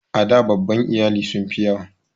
A da babban iyali sun fi yawa.